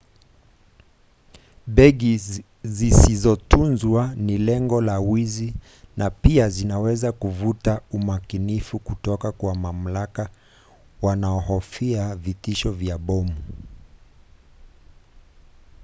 begi zisizotunzwa ni lengo la wizi na pia zinaweza kuvutia umakinifu kutoka kwa mamlaka wanaohofia vitishio vya bomu